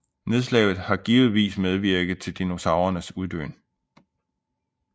Nedslaget har givetvis medvirket til dinosaurernes uddøen